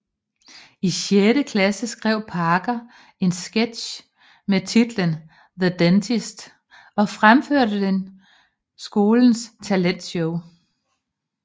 I sjette klasse skrev Parker en sketch med titlen The Dentist og fremførte den skolens talentshow